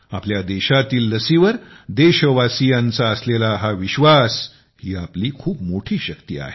आपल्या देशातील लसीवर देशवासीयांच्या असलेला विश्वास ही आपली खूप मोठी शक्ती आहे